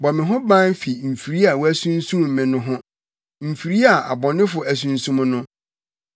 Bɔ me ho ban fi mfiri a wɔasunsum me no ho, mfiri a abɔnefo asunsum no.